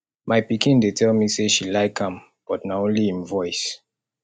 my pikin dey tell me say she like am but na only im voice